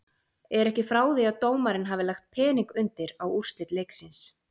Er ekki frá því að dómarinn hafi lagt pening undir á úrslit leiksins.